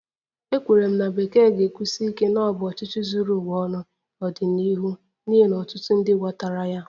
Ekwenyere m na Bekee ga-ekwusi ike na ọ bụ ọchịchị zuru ụwa ọnụ n'ọdịnihu n'ihi na ọtụtụ ndị ghọtara ya